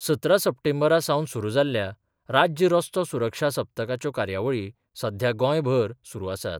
सतरा सप्टेंबरा सावन सुरू जाल्ल्या राज्य रस्तो सुरक्षा सप्तकाच्यो कार्यावळी सध्या गोंयभर सुरू आसात.